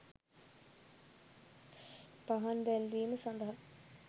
පහන් දැල්වීම සඳහා